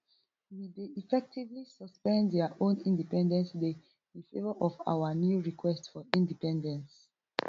we dey effectively suspend dia own independence day in favour of our new request for independence